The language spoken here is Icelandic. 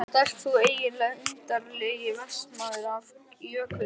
Hver ert þú eiginlega, undarlegi vestanmaður af Jökuldal?